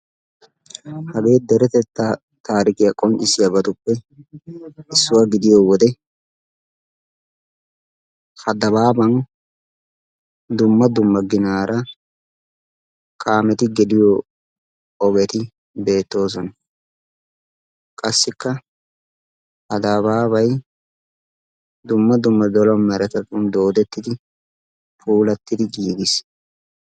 hagee deretetta tarikkiya qonccissiyaabatuppe issuwaa gidiyo wode ha dabaaban dumma dumma ginaara kaameti geliyo ogeti beettoosona. qassikka ha dabaabay dumma dumma meretattun doodettidi puulatidi giiggiis.